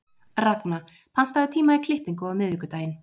Ragna, pantaðu tíma í klippingu á miðvikudaginn.